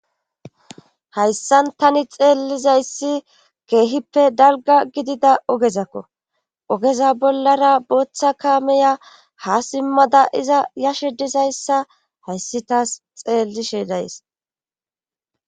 hayssan tani xeellizayssi keehippe dalga gidida ogezakko ogeza bollara booththa kaameya ha simmada iza yashe dizayssa hayssi taas xeellishe days